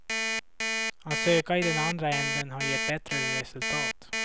Att söka i den andra änden har gett bättre resultat.